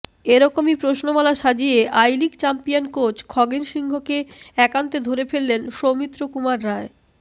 এরকমই প্রশ্নমালা সাজিয়ে I league champion coach Khogen সিংকে একান্তে ধরে ফেললেন সৌমিত্র কুমার রায়